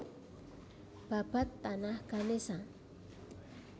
Babad Tanah Ganesha